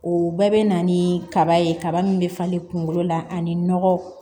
O bɛɛ bɛ na ni kaba ye kaba min bɛ falen kunkolo la ani nɔgɔ